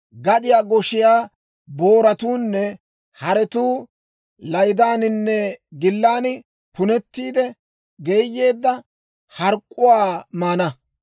Gadiyaa goshiyaa booratuunne haretuu laydaaninne gillan punetiide, geeyeedda hark'k'uwaa maana.